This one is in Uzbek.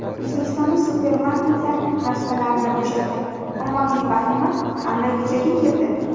O‘zbekistonda supermarketlar rastalarini bo‘shatgan ommaviy vahima qanday yuzaga keldi?